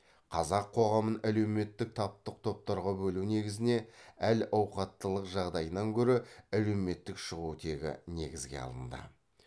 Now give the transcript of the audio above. қазақ қоғамын әлеуметтік таптық топтарға бөлу негізіне әл ауқаттылық жағдайынан гөрі әлеуметтік шығу тегі негізге алынды